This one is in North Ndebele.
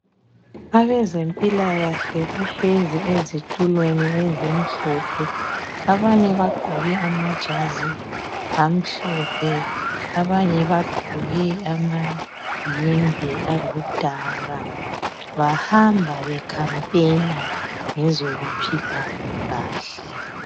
Abezempilakahle bahlezi ezitulweni ezimhlophe abanye bagqoke amajazi amhlophe abanye bagqoke amayembe aludaka bahamba bekhampena ngezokuphila kahle